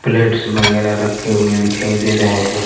Plates वगैरह रखे हुए दिखाई दे रहे हैं।